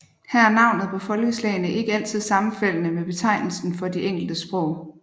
Her er navnet på folkeslagene ikke altid sammenfaldende med betegnelsen for de enkelte sprog